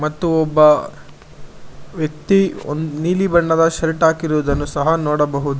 ಮತ್ತು ಒಬ್ಬ ವ್ಯಕ್ತಿ ಒಂದ್ ನೀಲಿ ಬಣ್ಣದ ಶರ್ಟ್ ಹಾಕಿರುವುದನ್ನು ಸಹ ನೋಡಬಹುದು.